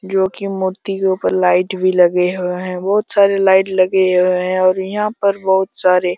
क्योंकि मूर्ति ऊपर लाइट भी लगे हुए हैं बहुत सारे लाइट लगे हुए हैं और यहां पर बहुत सारे--